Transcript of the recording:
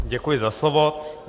Děkuji za slovo.